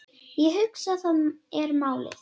Ég hugsa, það er málið.